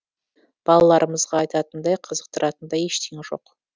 балаларымызға айтатындай қызықтыратындай ештеңе жоқ